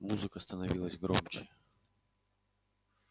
музыка становилась громче